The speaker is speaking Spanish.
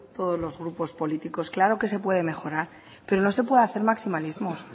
todos los grupos políticos claro que se puede mejorar pero no se puede hacer maximalismos